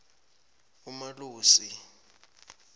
umalusi